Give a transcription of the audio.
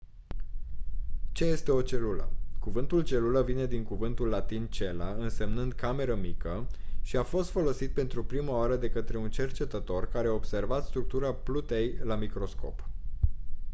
ce este o celulă? cuvântul celulă vine din cuvântul latin «cella» însemnând «cameră mică» și a fost folosit pentru prima oară de către un cercetător care a observat structura plutei la microscop.